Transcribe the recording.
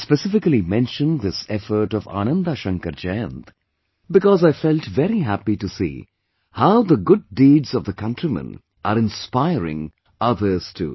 I specifically mentioned this effort of Ananda Shankar Jayant because I felt very happy to see how the good deeds of the countrymen are inspiring others too